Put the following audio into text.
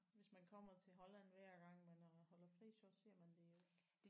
Hvis man kommer til Holland hver gang man holder fri så ser man det jo ikke